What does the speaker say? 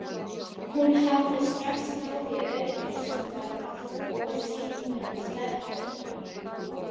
Hún hafði strax náð í öryggisvörð og sýnt honum sletturnar.